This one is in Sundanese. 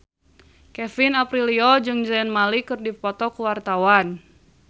Kevin Aprilio jeung Zayn Malik keur dipoto ku wartawan